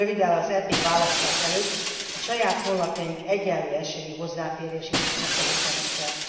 Röviddel az EP választás előtt a saját honlapjaink egyenlő esélyű hozzáférését is biztosítanunk kell.